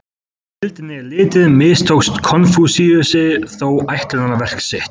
Þegar á heildina er litið mistókst Konfúsíusi þó ætlunarverk sitt.